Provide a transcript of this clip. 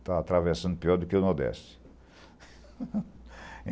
está atravessando pior do que o Nordeste.